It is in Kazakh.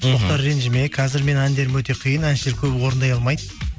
мхм мұхтар ренжіме қазір менің әндерім өте қиын әншілер көбі орындай алмайды